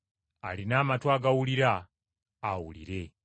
Alina amatu agawulira, awulire.”